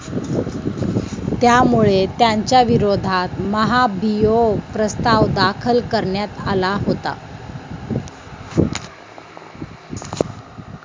त्यामुळे त्यांच्याविरोधात महाभियोग प्रस्ताव दाखल करण्यात आला होता.